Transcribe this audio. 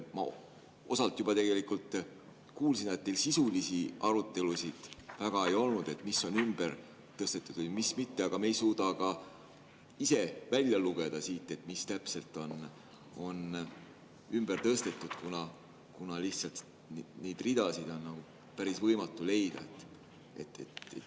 Ma osalt juba tegelikult kuulsin, et teil sisulisi arutelusid väga ei olnud, et mis on ümber tõstetud või mis mitte, aga me ei suuda ka ise välja lugeda siit, mis täpselt on ümber tõstetud, kuna lihtsalt neid ridasid on päris võimatu leida.